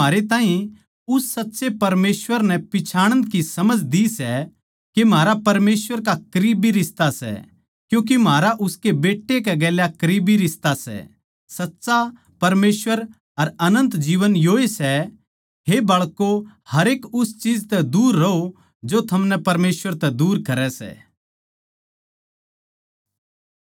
हे बाळकों हरेक उस चीज तै दूर रहों जो थमनै परमेसवर तै दूर करै सै